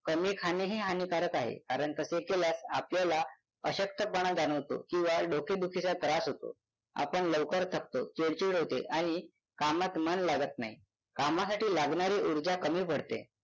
कमी खाणेही हानिकारक आहे कारण तसे केल्यास आपल्याला अशक्तपणा जाणवतो किंवा डोकेदुखीचा त्रास होतो आपण लवकर थकतो चिडचिड होते आणि कामात मन लागत नाही कामासाठी लागणारी उर्जा कमी पडते